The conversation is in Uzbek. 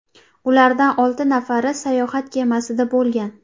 Ulardan olti nafari sayohat kemasida bo‘lgan.